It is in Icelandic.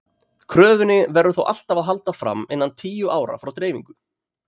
Kröfunni verður þó alltaf að halda fram innan tíu ára frá dreifingu.